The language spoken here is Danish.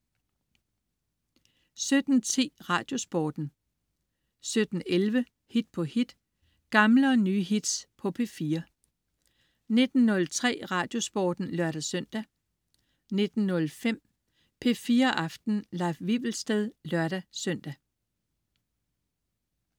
17.10 Radiosporten 17.11 Hit på hit. Gamle og nye hits på P4 19.03 Radiosporten (lør-søn) 19.05 P4 Aften. Leif Wivelsted (lør-søn)